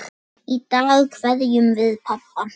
Í dag kveðjum við pabba.